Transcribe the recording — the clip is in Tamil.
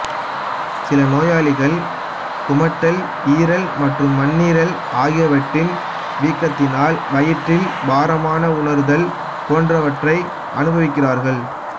சில நோயாளிகள் குமட்டல் ஈரல் மற்றும் மண்ணீரல் ஆகியவற்றின் வீக்கத்தினால் வயிற்றில் பாரமாக உணர்தல் போன்றவற்றை அனுபவிக்கிறார்கள்